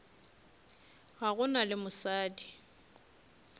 ga go na le mosadi